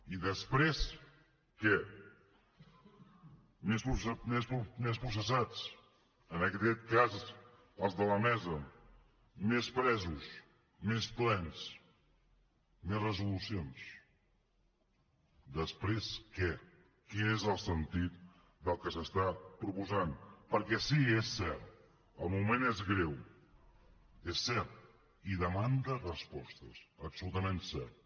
i després què més processats en aquest cas els de la mesa més presos més plens més resolucions després què quin és el sentit del que s’està proposant perquè sí és cert el moment és greu és cert i demanda respostes absolutament cert